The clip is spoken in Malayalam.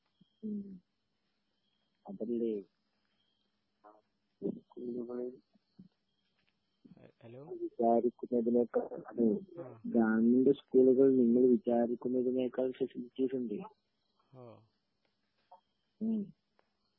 മ്ഹ് അതല്ലേ സ്കൂളുകളിൽ സംസാരിക്കുന്നതിനേക്കാൾ ഗവൺമെന്റ് സ്കൂളുകളിൽ നിങ്ങള് വിചാരിക്കുന്നതിനെക്കാള് ഫസിലിറ്റീസ് ഉണ്ട്